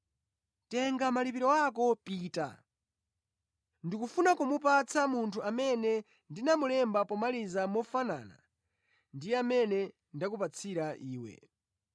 Tenga malipiro ako pita. Ndikufuna kumupatsa munthu amene ndinamulemba pomaliza mofanana ndi mmene ndakupatsira iwe.